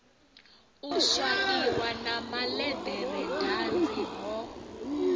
u swaiwa na malederedanzi ho